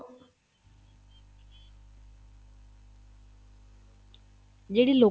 ਜਿਹੜੀ ਲੋਕਾਂ